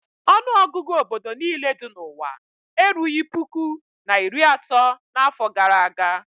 Ọnụọgụgụ obodo niile dị n'ụwa erughị puku na iri atọ n'afọ gara aga.